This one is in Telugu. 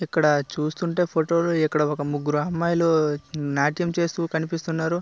ఇక్కడ చూస్తుంటే ఫోటోలో ముగ్గురు అమ్మాయిలు నాట్యం చేస్తున్నట్టు కనిపిస్తూ ఉన్నారు.